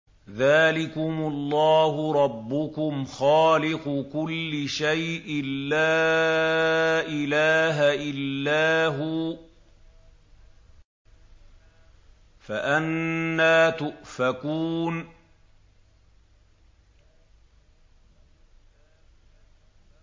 ذَٰلِكُمُ اللَّهُ رَبُّكُمْ خَالِقُ كُلِّ شَيْءٍ لَّا إِلَٰهَ إِلَّا هُوَ ۖ فَأَنَّىٰ تُؤْفَكُونَ